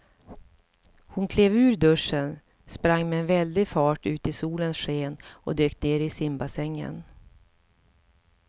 Hon klev ur duschen, sprang med väldig fart ut i solens sken och dök ner i simbassängen.